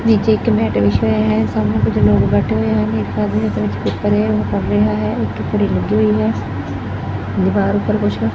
ਨੀਚੇ ਇੱਕ ਮੈਟ ਵਿਛਿਆ ਹੋਇਆ ਹੈ ਸਾਹਮਣੇ ਕੁਝ ਲੋਕ ਬੈਠੇ ਹੋਏ ਹਨ ਇੱਕ ਆਦਮੀ ਇਹਦੇ ਵਿੱਚ ਕਰ ਰਿਹਾ ਹੈ ਇੱਕ ਘੜੀ ਲੱਗੀ ਹੋਈ ਹੈ ਦੀਵਾਰ ਉੱਪਰ ਕੁਛ--